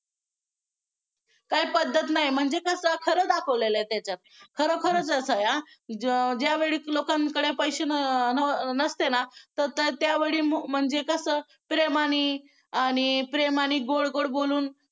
काय पद्धत नाही म्हणजे कसं खरं दाखवलेलं आहे त्याच्यात खरोखरचं असं आहे आ ज्यावेळी लोकांकडे पैसे नसते ना तर त्यावेळी म्हणजे कसं प्रेमाने आणि प्रेमाने गोड गोड बोलून